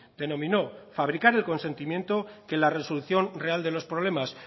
denominó fabricar el consentimiento que en la resolución real de los problemas